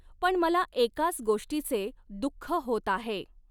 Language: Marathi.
पण मला एकाच गोष्टीचे दुःख होत आहे.